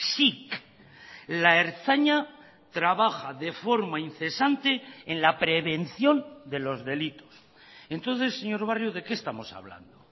sic la ertzaina trabaja de forma incesante en la prevención de los delitos entonces señor barrio de qué estamos hablando